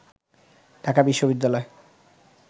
ঢাকা বিশ্ববিদ্যালয়